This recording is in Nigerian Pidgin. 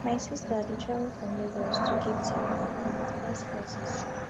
my sister dey travel from lagos to capetown for her masters classes